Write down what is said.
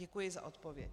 Děkuji za odpověď.